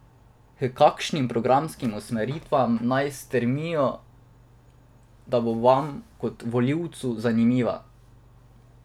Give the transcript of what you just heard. H kakšnim programskim usmeritvam naj stremijo, da bo vam, kot volivcu, zanimiva?